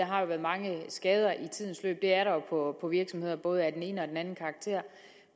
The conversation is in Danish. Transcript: har været mange skader i tidens løb det er der jo på virksomheder både af den ene og den anden karakter